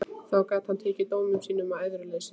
Þá gat hann tekið dómi sínum með æðruleysi.